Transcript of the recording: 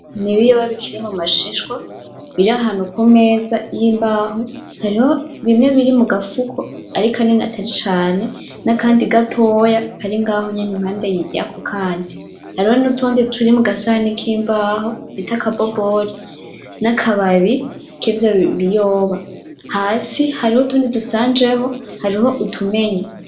N'ibiyoba bikiri mumashishwa biri ahantu kumeza yimbaho. Hariho bimwe biri mugafuko, ariko nyene atari cane, nakandi gatoya kari ngaho nyene impande yako kandi. Hariho nutundi turi mugasahani kimbaho bita aka boboli nakababi kivyo biyoba. Hasi hariho utundi dushanjeho, hariho utumenye.